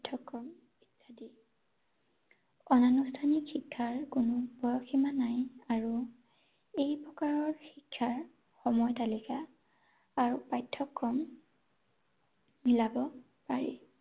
অনানুষ্ঠানিক শিক্ষাৰ কোনো পৰসীমা নাই আৰু, এই প্ৰকাৰৰ শিক্ষাৰ সময় তালিকা আৰু পাঠ্যক্ৰম উলিয়াব পাৰি ৷